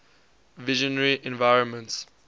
visionary environments